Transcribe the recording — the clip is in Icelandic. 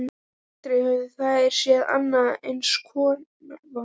Aldrei höfðu þær séð annan eins kofa.